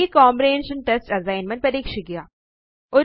ഈ comprehension test assignment പരീക്ഷിക്കുക